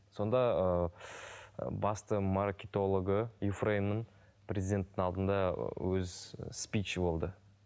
сонда ыыы басты маркетологы юфреймнің президенттің алдында өз і спичі болды